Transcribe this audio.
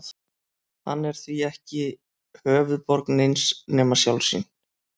Hann er því ekki höfuðborg neins nema sjálfs sín.